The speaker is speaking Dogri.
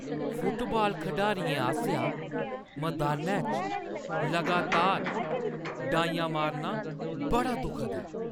फुटबाल खढारियें आसेआ मदानै च लगातार डाइयां मारना बड़ा दुखद ऐ।